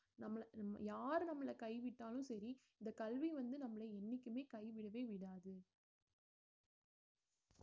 நம்மளை நம்~ யாரு நம்மளை கைவிட்டாலும் சரி இந்த கல்வி வந்து நம்மளை என்னைக்குமே கைவிடவே விடாது